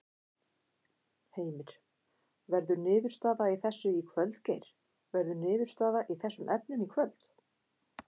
Heimir: Verður niðurstaða í þessu í kvöld Geir, verður niðurstaða í þessum efnum í kvöld?